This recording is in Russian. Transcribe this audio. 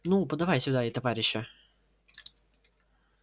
ну подавай сюда и товарища